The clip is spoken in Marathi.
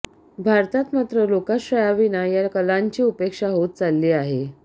भारतात मात्र लोकाश्रयाविना या कलांची उपेक्षा होत चालली आहे